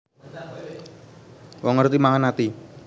Wong ngerti mangan ati